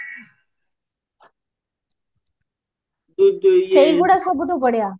ସେଇଗୁଡା ସବୁଠୁ ବଢିଆ